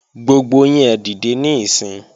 Gbogbo yín ẹ dìde níìsín!